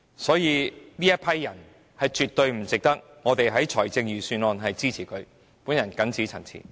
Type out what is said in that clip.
所以，他們絕對不值得我們在財政預算案中給予撥款支持。